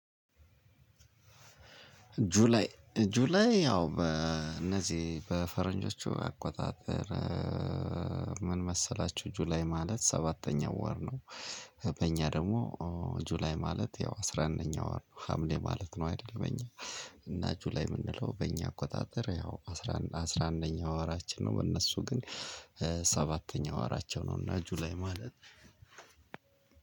ጁላይ ያው በእነዚህ በፈረንጆቹ አቆጣጠር ምን መሰላችሁ ጁላይ ማለት ሰባተኛው ወር ነው። በእኛ ደግሞ ጁላይ ማለት ያው አስራ አንደኛው ወር ሀምሌ ማለት ነው አይደል? በእኛ እና ጁላይ የምንለው በእኛ አቆጣጠር ያው አስራ አስራ አንደኛው ወራችን ነው። በእነሱ ግን ሰባተኛው ወራቸው ነው። እና ጁላይ ማለት፤